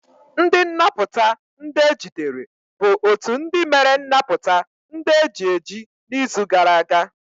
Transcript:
Ndi nnaputa ndi ejidere bụ otu ndị mere nnapụta ndị eji eji n'izu gara aga.